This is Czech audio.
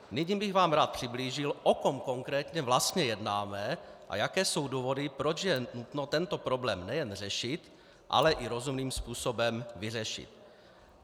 Nyní bych vám rád přiblížil, o kom konkrétně vlastně jednáme a jaké jsou důvody, proč je nutno tento problém nejen řešit, ale i rozumným způsobem vyřešit.